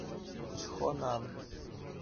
чхонан